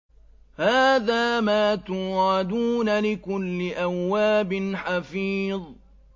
هَٰذَا مَا تُوعَدُونَ لِكُلِّ أَوَّابٍ حَفِيظٍ